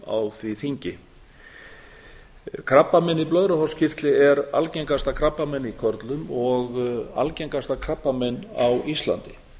á því þingi krabbamein í blöðruhálskirtli er algengasta krabbamein í körlum og algengasta krabbamein á íslandi